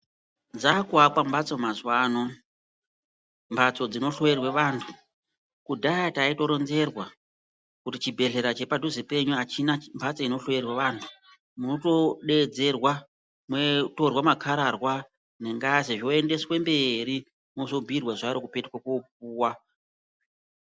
Dzaakuvakwa mbatso mazuva ano, mbatso dzinohloyirwe vantu. Kudhaya taitoronzerwa kuti chibhedhleya chepa dhuze penyu achina mbatso inohloyerwa vantu moto deedzerwa motorwa makararwa nengazi zvoendeswe mberi mozobhuyirwa zuva rekupetuke kopuwa.